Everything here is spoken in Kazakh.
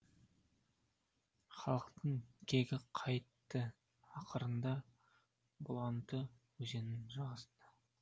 халықтың кегі қайтты ақырында бұланты өзенінің жағасында